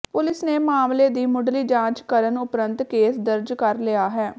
police ਨੇ ਮਾਮਲੇ ਦੀ ਮੁੱਢਲੀ ਜਾਂਚ ਕਰਨ ਉਪਰੰਤ ਕੇਸ ਦਰਜ ਕਰ ਲਿਆ ਹੈ